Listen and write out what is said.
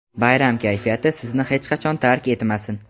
Bayram kayfiyati sizni hech qachon tark etmasin!.